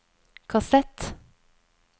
kassett